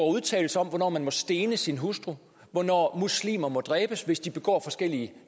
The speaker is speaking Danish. udtalelser om hvornår man må stene sin hustru og hvornår muslimer må dræbes hvis de begår forskellige